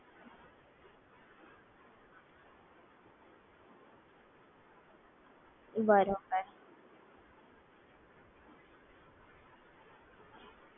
બરોબર તમે આમાંથી કઈ application યુઝ કરો છો?